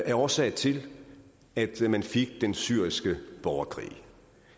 er årsag til at man fik den syriske borgerkrig